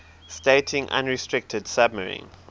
stating unrestricted submarine